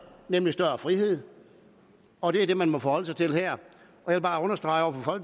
nemlig større frihed og det er det man må forholde sig til her jeg vil bare understrege over for